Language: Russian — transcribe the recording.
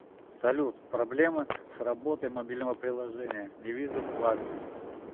салют проблемы с работой мобильного приложения не вижу вклады